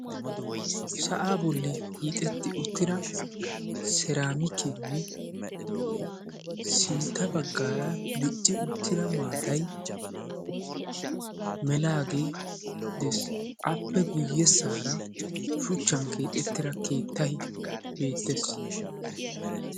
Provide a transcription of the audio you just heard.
sa'aa bolli hiixetti uttida seeraamikeene sintta bagaara maatay melaagee dees. appe guyesaara keettay keexetaagee dees.